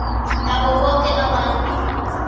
nabo boke abantu